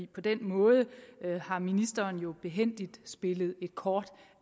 på den måde har ministeren jo behændigt spillet et kort